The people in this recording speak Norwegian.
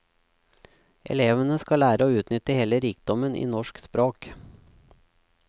Elevene skal lære å utnytte hele rikdommen i norsk språk.